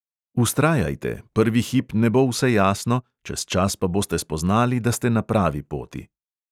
Vztrajajte, prvi hip ne bo vse jasno, čez čas pa boste spoznali, da ste na pravi poti.